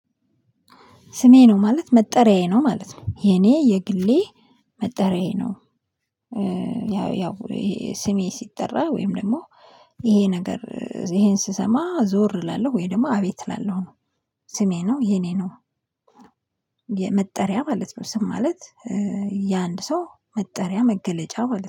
ስሜ ነው ማለት መጠሪያዬ ነው ማለት ነው የኔ የግሌ መጠሪያዬ ነው። ያው ያው ስሜ ሲጠራ ወይም ደግሞ ይሄ ነገር ይሄን ስሰማ ዞር እላለሁ ወይ ደግሞ አቤት እላለሁ ነው። ስሜ ነው የኔ ነው። የመጠሪያ ማለት ነው ስም ማለት። የአንድ ሰው መጠሪያ መገለጫ ማለት ነው